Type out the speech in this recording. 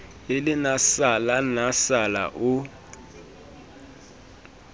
e le nasala nasala o